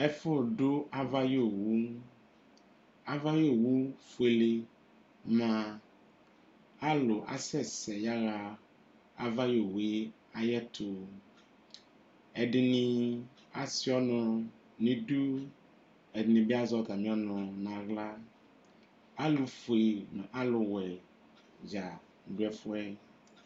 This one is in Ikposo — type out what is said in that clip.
Ɛfʊdʊ avayowʊ Avayowu foele ma Alʊ asɛsɛ yaɣa avayowu yɛ tʊ Ɛdɩnɩ asuia ɔnʊ nʊ idu Ɛdɩnɩbɩ azɛ atamiɔnʊ nʊ aɣla Alʊfoe nʊ alʊwoɛdza dʊ efʊ yɛ